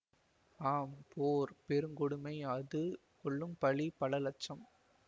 ஆம் போர் பெருங்கொடுமை அது கொள்ளும் பலி பல இலட்சம்